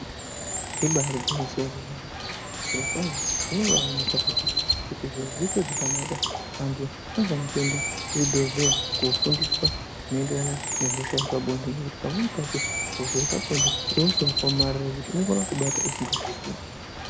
Ibaari gwinyiso remene zvirokwazvo zvinobaaonelkwa kuti ,kuti zviro zviite zvakanaka anhu anofanire kuende kuzvibhehleya kofundiswa zvinoonderarana nehosha yepabonde ,pamweni pacho hosha yepabonde ihosha yakaomarara yekuti inokona kutobata usingazviziyi.